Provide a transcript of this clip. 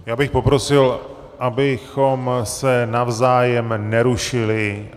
Já bych poprosil, abychom se navzájem nerušili.